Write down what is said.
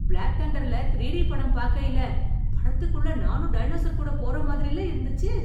black தண்டர்ல தீரிடி படம் பார்க்கையிலே, படத்துக்குள்ளே நானும் டைனோசர்கூட போற மாதிரில்ல இருந்துச்சு